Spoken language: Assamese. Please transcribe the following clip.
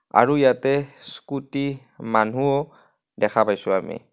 আৰু ইয়াতে স্কুটি মানুহও দেখা পাইছোঁ আমি.